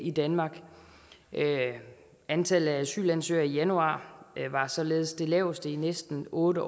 i danmark antallet af asylansøgere i januar var således det laveste i næsten otte